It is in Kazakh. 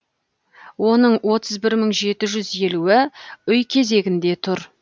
оның отыз бір мың жеті жүз елуі үй кезегінде тұр